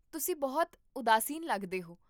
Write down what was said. ਤੁਸੀਂ ਬਹੁਤ ਉਦਾਸੀਨ ਲੱਗਦੇ ਹੋ